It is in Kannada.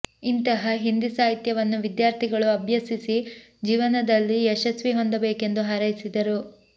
ಇಂತಹ ಹಿಂದಿ ಸಾಹಿತ್ಯವನ್ನು ವಿದ್ಯಾರ್ಥಿಗಳು ಅಭ್ಯಸಿಸಿ ಜೀವನದಲ್ಲಿ ಯಶಸ್ವಿ ಹೊಂದ ಬೇಕೆಂದು ಹಾರೈಸಿದರು